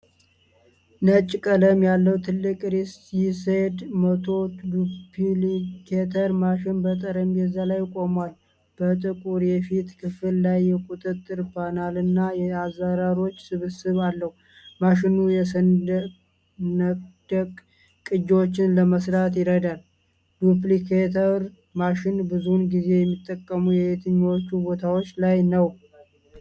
ነጭ ቀለም ያለው ትልቅ ሪሶ ሲዘድ መቶ ዱፕሊኬተር ማሽን በጠረጴዛ ላይ ቆሟል። በጥቁር የፊት ክፍል ላይ የቁጥጥር ፓናልና የአዝራሮች ስብስብ አለው። ማሽኑ የሰነድ ቅጂዎችን ለመስራት ይረዳል። ዱፕሊኬተር ማሽኖች ብዙውን ጊዜ የሚጠቀሙት የትኞቹ ቦታዎች ላይ ነው?